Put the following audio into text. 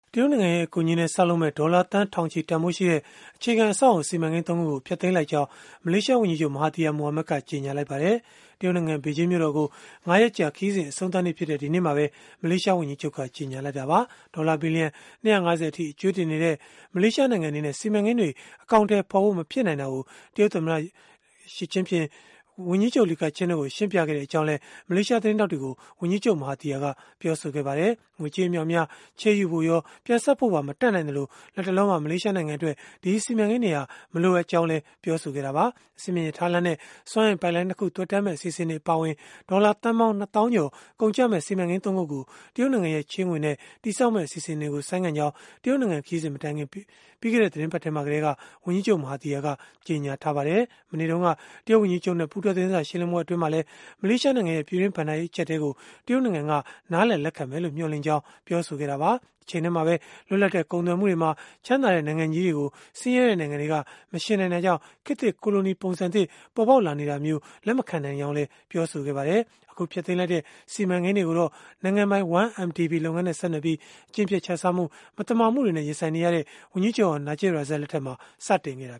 တရုတ်နိုင်ငံရဲ့ အကူအညီနဲ့ ဆောက်လုပ်မယ့် ဒေါ်လာသန်းထောင်ချီ တန်ဘိုးရှိတဲ့ အခြေခံအဆောက်အအုံ စီမံကိန်း ၃ ခုကို ဖျက်သိမ်းလိုက်ကြောင်း မလေးရှားဝန်ကြီးချုပ် Mahathir Mohamad ကကြေညာလိုက်ပါတယ်။ တရုတ်နိုင်ငံ ဘေဂျင်းမြို့တော်ကို ၅ ရက်ကြာ ခရီးစဉ် အဆုံးသတ်နေ့ဖြစ်တဲ့ ဒီနေ့မှာပဲ မလေးရှားဝန်ကြီးချုပ်က ကြေညာလိုက်တာပါ။ ဒေါ်လာဘီလီယံ ၂၅၀ အထိ အကြွေးတင်နေတဲ့ မလေးရှားနိုင်ငံ အနေနဲ့ စီမံကိန်းတွေ အကောင်အထည်ဖော်ဖို့ မဖြစ်နိုင်တာကို တရုတ်သမ္မတ Xi Jingping နဲ့ ဝန်ကြီးချုပ် Li Keqiang တို့ကို ရှင်းပြခဲ့ကြောင်းလည်း မလေးရှားသတင်းထောက်တွေကို ဝန်ကြီးချုပ် Mahathir က ပြောဆိုခဲ့ပါတယ်။ ငွေကြေး အမြောက်အများ ချေးယူဖို့ရော ပြန်ဆပ်ဖို့ရော မတတ်နိုင်သလို၊ လတ်တလောမှာ မလေးရှားနိုင်ငံအတွက် ဒီစီမံကိန်းတွေဟာ မလိုအပ်ဘူးလို့လည်း ပြောဆိုခဲ့တာပါ။ အဆင့်မြင့် ရထားလမ်းနဲ့ စွမ်းအင်ပိုက်လိုင်း ၂ ခု သွယ်တန်းမယ့် အစီအစဉ်တွေ အပါအဝင် ဒေါ်လာသန်းပေါင်း ၂ သောင်းကျော် ကုန်ကျမယ့် စီမံကိန်း ၃ ခုကို တရုတ်နိုင်ငံရဲ့ ချေးငွေနဲ့ တည်ဆောက်မယ့် အစီအစဉ်တွေကို ဆိုင်းငံ့ကြောင်း တရုတ်နိုင်ငံခရီးစဉ် မတိုင်ခင် ပြီးခဲ့တဲ့ သီတင်းပတ်ထဲမှာကတည်းက ဝန်ကြီးချုပ် Mahathir က ကြေညာထားပါတယ်။ မနေ့တုန်းက တရုတ်ဝန်ကြီးချုပ်နဲ့ ပူးတွဲသတင်းစာ ရှင်းလင်းပွဲ အတွင်းမှာလည်း မလေးရှားနိုင်ငံရဲ့ ပြည်တွင်းဘဏ္ဍာရေး အကျပ်အတည်းကို တရုတ်နိုင်ငံက နားလည်လက်ခံမယ်လို့ မျှော်လင့်ကြောင်း ပြောဆိုခဲ့တာပါ။ တချိန်တည်းမှာပဲ လွတ်လပ်တဲ့ ကုန်သွယ်မှုတွေမှာ ချမ်းသာတဲ့ နိုင်ငံကြီးတွေကို ဆင်းရဲတဲ့နိုင်ငံတွေက မယှဉ်နိုင်တာကြောင့် ခေတ်သစ်ကိုလိုနီ ပုံစံသစ်ပေါ်ပေါက်လာနေတာကို လက်မခံနိုင်ကြောင်းလည်း ပြောဆိုခဲ့ပါတယ်။ အခုဖျက်သိမ်းလိုက်တဲ့ စီမံကိန်းတွေကိုတော့ နိုင်ငံပိုင် 1MDB လုပ်ငန်းနဲ့ ဆက်နွယ်ပြီး အကျင့်ပျက်ခြစားမှု၊ မသမာမှုတွေနဲ့ ရင်ဆိုင်နေရတဲ့ ဝန်ကြီးချုပ်ဟောင်း Najib Razak လက်ထက်မှာ စတင်ခဲ့တာ